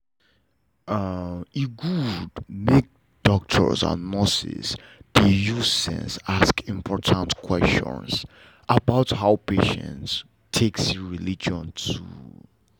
e good make doctors and nurses dey use sense ask important questions about how patient take see religion too o.